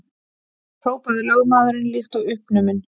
hrópaði lögmaðurinn líkt og uppnuminn.